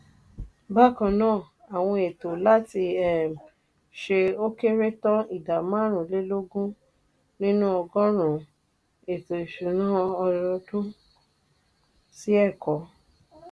bákan náà àwọn ètò láti um ṣe ó kéré tán ìdá máàrún-lé-lógún nínú ọgọ́rùn-ún ètò ìsúná ọdọọdún sí ẹ̀kọ́.